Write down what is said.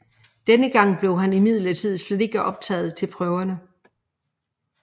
Denne gang blev han imidlertid slet ikke optaget til prøverne